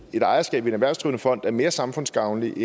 ejerskab i en erhvervsdrivende fond er mere samfundsgavnligt